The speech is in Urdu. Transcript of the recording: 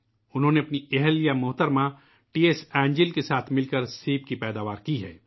انہوں نے اپنی اہلیہ محترمہ ٹی ایس اینجل کے ساتھ مل کر سیب کی پیداوار کی ہے